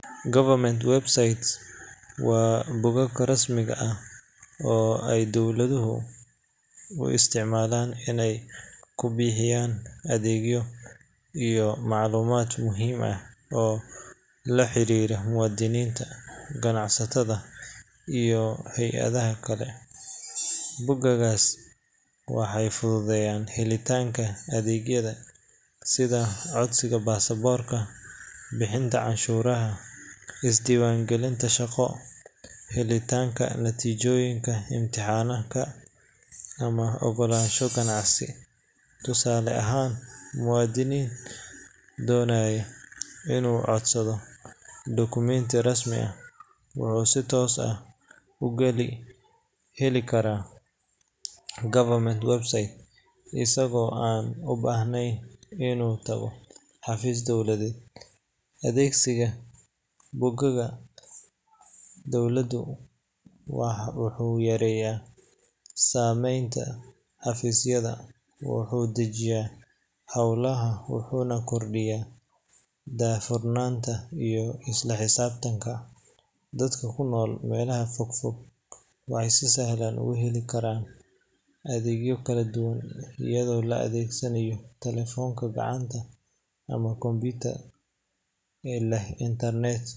Government websites waa bogag rasmiga ah oo ay dawladuhu u isticmaalaan inay ku bixiyaan adeegyo iyo macluumaad muhiim ah oo la xiriira muwaadiniinta, ganacsatada, iyo hay’adaha kale. Bogaggaas waxay fududeeyaan helitaanka adeegyada sida codsiga baasaboorka, bixinta canshuuraha, isdiiwaangelinta shaqo, helitaanka natiijooyinka imtixaanka, ama oggolaanshaha ganacsi. Tusaale ahaan, muwaadin doonaya inuu codsado dukumeenti rasmi ah, wuxuu si toos ah uga heli karaa government website isagoo aan u baahnayn inuu tago xafiis dowladeed. Adeegsiga bogagga dawladdu wuxuu yareeyaa saxmadda xafiisyada, wuxuu dedejiyaa howlaha, wuxuuna kordhiyaa daahfurnaanta iyo isla xisaabtanka. Dadka ku nool meelaha fog fog waxay si sahlan ugu heli karaan adeegyo kala duwan iyadoo la adeegsanayo telefoonka gacanta ama computer leh internet.